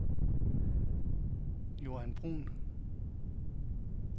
Joan Bruhn